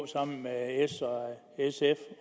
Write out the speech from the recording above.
sammen med s sf